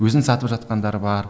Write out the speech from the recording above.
өзін сатып жатқандар бар